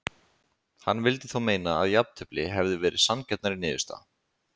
Hann vildi þó meina að jafntefli hefði verið sanngjarnari niðurstaða.